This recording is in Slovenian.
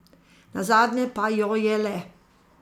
Nazadnje pa jo je le.